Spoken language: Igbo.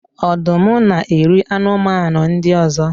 Ọdụm na-eri anụmanụ ndị ọzọ